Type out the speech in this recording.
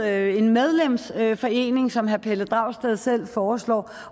er en medlemsforening som herre pelle dragsted selv foreslår